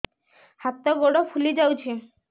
ହାତ ଗୋଡ଼ ଫୁଲି ଯାଉଛି